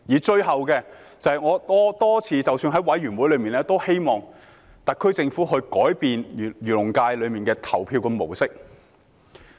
最後，正如我多次在委員會上提出，我希望特區政府可以改變漁農界的投票模式。